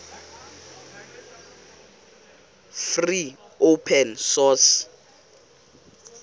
free open source